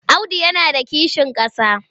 Audu yana da kishin ƙasa.